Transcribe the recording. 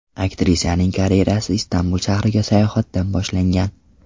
Aktrisaning karyerasi Istanbul shahriga sayohatdan boshlangan.